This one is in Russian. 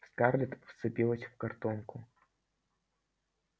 скарлетт вцепилась в картонку